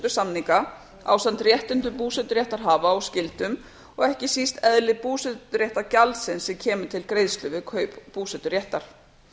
búsetusamninga ásamt réttindum búseturéttarhafa og skyldum og ekki síst eðli búseturéttargjaldsins sem kemur til greiðslu við kaup búseturéttar